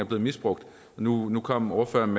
blevet misbrugt nu nu kom ordføreren